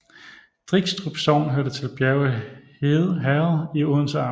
Drigstrup Sogn hørte til Bjerge Herred i Odense Amt